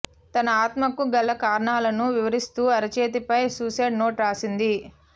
తన ఆత్మహత్యకు గల కారణాలను వివరిస్తూ అరచేతిపై సూసైడ్ నోట్ రాసింది